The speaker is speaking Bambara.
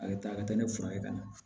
A bɛ taa a ka taa ne furakɛ ka na